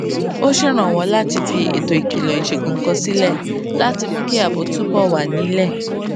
ó ṣèrànwó láti fi ètò ìkìlò ìṣègùn kan sílé láti mú kí ààbò túbò wà nílé